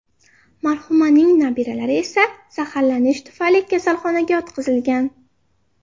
Marhumaning nabiralari esa zaharlanish tufayli kasalxonaga yotqizilgan.